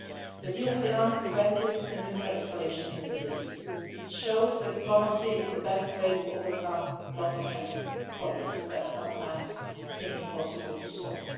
The deal with Iran prevented a nuclear escalation in the Middle East. It showed that diplomacy is the best way to overcome longstanding problems that sometimes seem impossible to